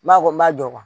N b'a fɔ n m'a jɔ